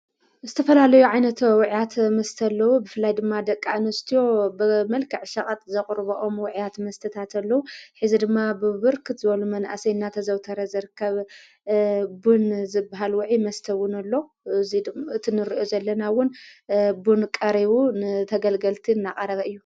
ምስ ዝተፈላለዩ ዓይነት ውዕያት መስተ ብፍላይ ድማ ደቃ እንስትዮ ብ መልክዕ ሻቓጥ ዘቕሩበኦም ውዕያት መስተታተሎዉ ሐዚ ድማ ብብርክት ዘበሉ መንእሰይናተ ዘውተረ ዘርከብ ቡን ዝብሃል ውዒ መስተ ውንኣሎ ትንርዮ ዘለናውን ቡን ቀሪቡ ንተገልገልቲ እናቐረበ እዩ።